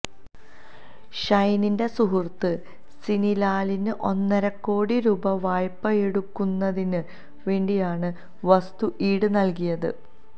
ഷൈനിന്റെ സുഹൃത്ത് സിനി ലാലിന് ഒന്നരക്കോടി രൂപ വായ്പയെടുക്കുന്നതിന് വേണ്ടിയാണ് വസ്തു ഈട് നൽകിയത്